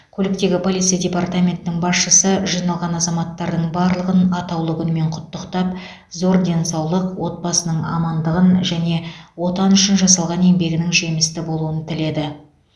көліктегі полиция департаментінің басшысы жиналған азаматтардың барлығын атаулы күнмен құттықтап зор денсаулық отбасының амандығын және отан үшін жасалған еңбегінің жемісті болуын тіледі